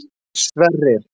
Sverrir